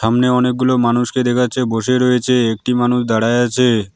সামনে অনেকগুলো মানুষকে দেখা যাচ্ছে বসে রয়েছে একটি মানুষ দাঁড়াইয়া আছে।